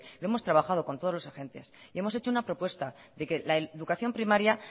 lo hemos trabajado con todos los agentes y hemos hecho una propuesta de que la educación primaria